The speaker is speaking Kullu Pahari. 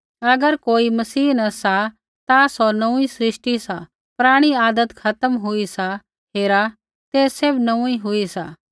अगर कोई मसीह न सा ता सौ नोंऊँई सृष्टि सा पराणी आदत खत्म हुई सा हेरा तै सैभ नोंऊँई हुई सा